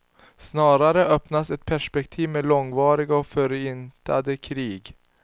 Snarare öppnas ett perspektiv med långvariga och förintande krig.